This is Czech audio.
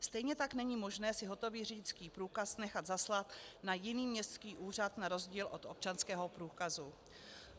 Stejně tak není možné si hotový řidičský průkaz nechat zaslat na jiný městský úřad na rozdíl od občanského průkazu.